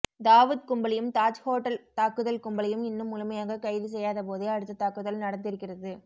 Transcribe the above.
தாவுத் கும்பலையும் தாஜ் ஹோட்டல் தாக்குதல் கும்பளையும் இன்னும் முழுமையாக கைது செய்யாத போதே அடுத்த தாக்குதல் நடந்திருக்கிறது